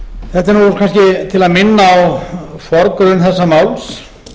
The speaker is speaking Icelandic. þetta er kannski til að minna á forgrunn þessa máls